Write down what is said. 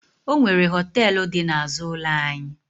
Ọ nwere họtelụ dị n'azụ ụlọ anyị.